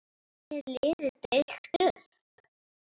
Hvernig er liðið byggt upp?